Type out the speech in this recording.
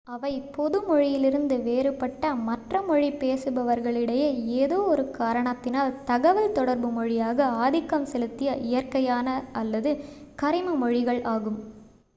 அவை பொது மொழியிலிருந்து வேறுபட்ட மற்ற மொழி பேசுபவர்களிடையே ஏதோ ஒரு 1 காரணத்தினால் தகவல் தொடர்பு மொழியாக ஆதிக்கம் செலுத்திய இயற்கையான அல்லது கரிம மொழிகள் ஆகும்